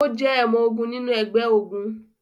O jẹ ọmọ-ogun nínú ẹgbẹ-ogun